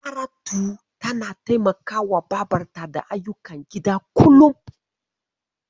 Saratu tana taimakawa babarta da ayyukan gida kullum.